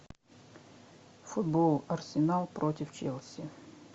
футбол арсенал против челси